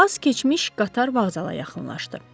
Az keçmiş qatar vağzala yaxınlaşdı.